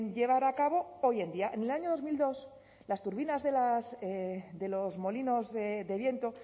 llevar a cabo hoy en día en el año dos mil dos las turbinas de los molinos de viento